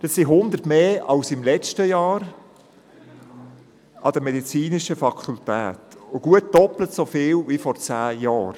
Dies sind 100 mehr als im vergangenen Jahr und gut doppelt so viele wie vor zehn Jahren.